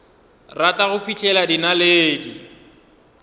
rata go fihlela dinaledi di